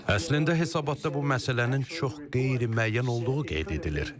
Əslində hesabatda bu məsələnin çox qeyri-müəyyən olduğu qeyd edilir.